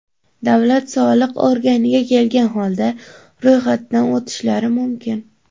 davlat soliq organiga kelgan holda ro‘yxatdan o‘tishlari mumkin.